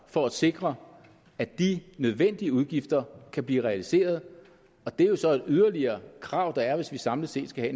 for at sikre at de nødvendige udgifter kan blive realiseret og det er så et yderligere krav der er hvis vi samlet set skal